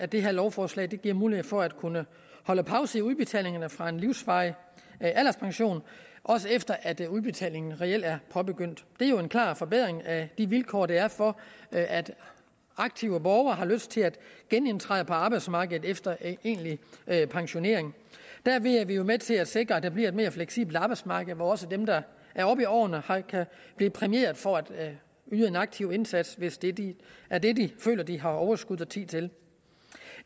det her lovforslag giver mulighed for at kunne holde pause i udbetalingerne fra en livsvarig alderspension også efter at udbetalingen reelt er påbegyndt det er jo en klar forbedring af de vilkår der er for at aktive borgere har lyst til at genindtræde på arbejdsmarkedet efter egentlig pensionering derved er vi jo med til at sikre at der bliver et mere fleksibelt arbejdsmarked hvor også dem der er oppe i årene kan blive præmieret for at yde en aktiv indsats hvis det det er det de føler de har overskud og tid til